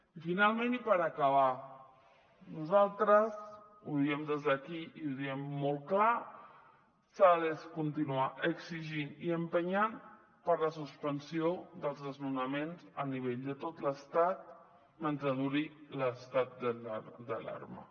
i finalment i per acabar nosaltres ho diem des d’aquí i ho diem molt clar s’ha de continuar exigint i empenyent per la suspensió dels desnonaments a nivell de tot l’estat mentre duri l’estat d’alarma